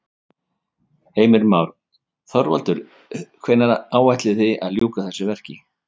Heimir Már: Þorvaldur hvenær áætlið þið að ljúka þessu verki?